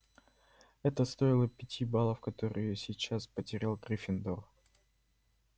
это стоило пяти баллов которые сейчас потерял гриффиндор